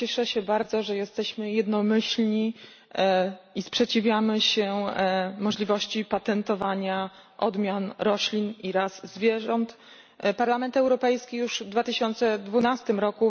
Cieszę się bardzo, że jesteśmy jednomyślni i sprzeciwiamy się możliwości patentowania odmian roślin i ras zwierząt. Parlament Europejski już w 2012 r.